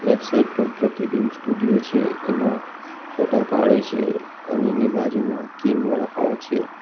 Left side પર Pratibimb studio છે એમાં ફોટા પાડે છે અને એની બાજુમાં કિંગ વડાપાઉં છે.